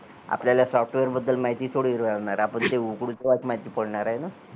आपल्याला software बद्दल माहिती थोडी राहणार आहे आपण ते उघडू तेव्हाच माहिती पडणार आहे ना